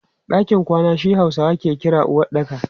Ɗakin kwana shi Hausawa ke kira uwaɗɗaka.